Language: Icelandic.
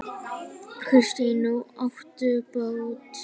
Kristín: Og áttu bát?